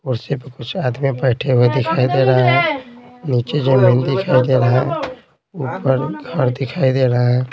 कुर्सी पर कुछ आदमी बैठे हुए दिखाई दे रहा है नीचे जमीन दिखाई दे रहा है ऊपर घर दिखाई दे रहा है।